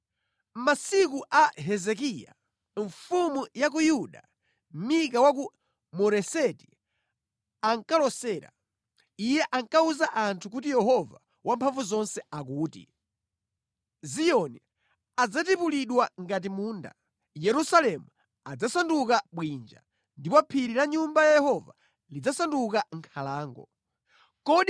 “Mʼmasiku a Hezekiya mfumu ya ku Yuda, Mika wa ku Moreseti ankalosera. Iye ankawuza anthu kuti Yehova Wamphamvuzonse akuti, “ ‘Ziyoni adzatipulidwa ngati munda, Yerusalemu adzasanduka bwinja, ndipo phiri la Nyumba ya Mulungu lidzasanduka nkhalango yowirira.’